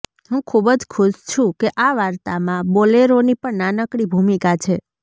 હું ખુબ જ ખુશ છું કે આ વાર્તામા બોલેરોની પણ નાનકડી ભૂમિકા છે